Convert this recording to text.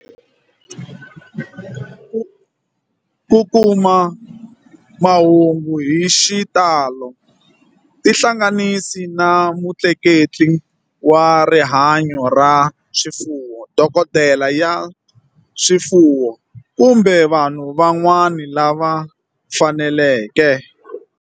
Ku kuma mahungu hi xitalo tihlanganisi na mutleketli wa rihanyo ra swifuwo, dokodela ya swifuwo, kumbe vanhu van'wana lava faneleke.